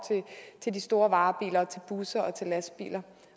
til de store varebiler til busser og til lastbiler